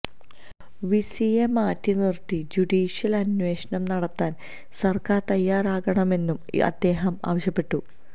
വിസിയെ മാറ്റി നിര്ത്തി ജുഡീഷ്യല് അന്വേഷണം നടത്താന് സര്ക്കാര് തയ്യാറാകണമെന്നും അദ്ദേഹം ആവശ്യപ്പെട്ടു